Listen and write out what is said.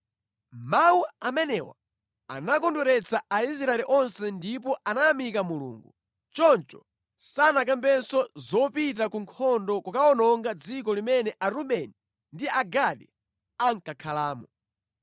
Mawu amenewa anakondweretsa Aisraeli onse ndipo anayamika Mulungu. Choncho sanakambenso zopita ku nkhondo kukawononga dziko limene Arubeni ndi Agadi ankakhalamo.